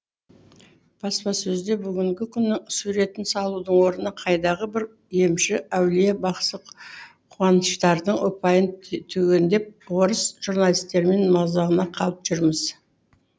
баспасөзде бүгінгі күннің суретін салудың орнына қайдағы бір емші әулие бақсы куаныштардың ұпайын түгендеп орыс журналистерінің мазағына қалып жүрміз